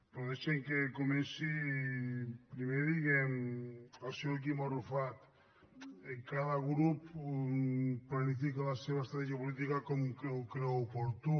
però deixin me que comenci primer dient al senyor quim arrufat cada grup planifica la seva estratègia política com ho creu oportú